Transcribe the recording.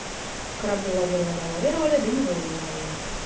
корабли лавировали лавировали да не вылавировали